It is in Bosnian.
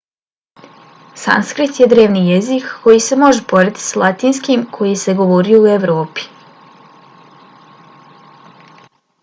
sanskrit je drevni jezik koji se može porediti s latinskim koji se govorio u evropi